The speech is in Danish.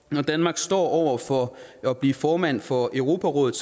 når danmark står over for at blive formand for europarådet